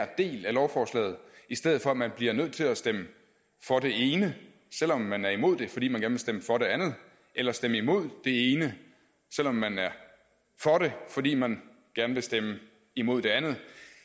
del af lovforslaget i stedet for at man bliver nødt til at stemme for det ene selv om man er imod det fordi man gerne vil stemme for det andet eller stemme imod det ene selv om man er for det fordi man gerne vil stemme imod det andet